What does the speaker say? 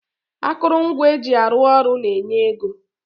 Akụrụngwa eji arụ ọrụ na-enye ego